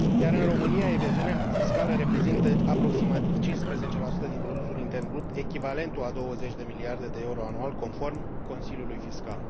În România, evaziunea fiscală reprezintă aproximativ 15 din produsul intern brut, echivalentul a 20 de miliarde de euro anual, conform Consiliului Fiscal.